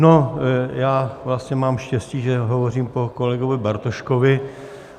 No, já vlastně mám štěstí, že hovořím po kolegovi Bartoškovi.